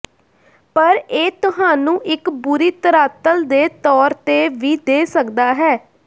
ਪਰ ਇਹ ਤੁਹਾਨੂੰ ਇੱਕ ਬੁਰੀ ਧਰਾਤਲ ਦੇ ਤੌਰ ਤੇ ਵੀ ਦੇ ਸਕਦਾ ਹੈ